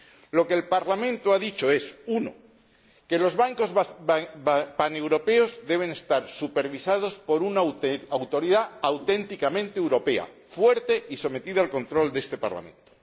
Lo que el Parlamento ha dicho es primero, que los bancos paneuropeos deben estar supervisados por una autoridad auténticamente europea, fuerte y sometida al control de este Parlamento